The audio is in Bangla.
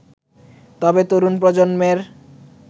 তবে, তরুণ প্রজন্মের